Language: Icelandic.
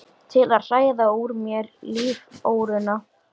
Til að hræða úr mér líftóruna?